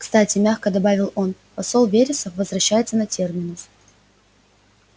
кстати мягко добавил он посол вересов возвращается на терминус